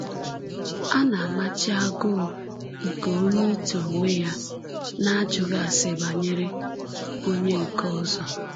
A na-amachi agụụ nke onye ito onwe ya n’ajụghị ase banyere onye nke ọzọ.